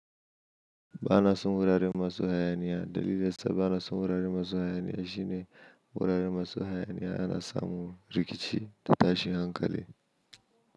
Ba na son wuraren masu hayaniya. Dalili da su ba na son wuraren masu hayaniya shine wuraren masu hayaniya ana samun rikici da tashi hankali.